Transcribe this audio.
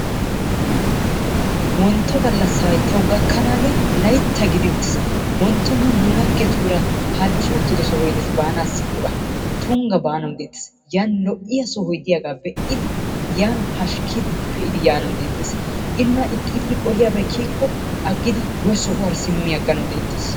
Wontto gallassay tawu gakkanaagee tawu Laytta gidi uttiis. Wontto nu nu laggetuura halchchi uttido sohoy dees baanaassi giyogaa. Tungga baanawu deettees. Yan lo"iya sohoy de'iyagaa be'idi, yan pashkkidi yaanawu deettees. Yan nuna hirggissiyabay diikko aggidi eesuwara simmiganawu deettees.